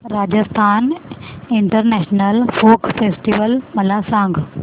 Rajasthan international folk festival मला सांग